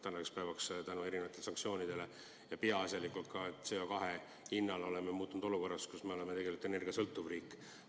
Tänaseks päevaks me oleme erinevate sanktsioonide ja peaasjalikult CO2 hinna tõttu muutunud olukorras: me oleme tegelikult energiasõltuv riik.